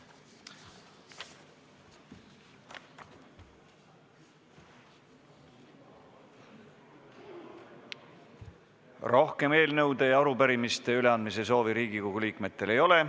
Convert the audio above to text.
Rohkem eelnõude ja arupärimiste üleandmise soovi Riigikogu liikmetel ei ole.